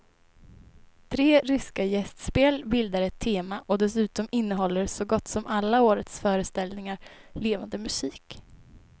Tre ryska gästspel bildar ett tema och dessutom innehåller så gott som alla årets föreställningar levande musik.